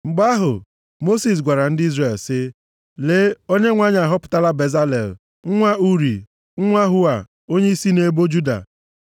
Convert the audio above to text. Mgbe ahụ, Mosis gwara ndị Izrel, sị, “Lee, Onyenwe anyị ahọpụtala Bezalel, nwa Uri, nwa Hua, onye si nʼebo Juda.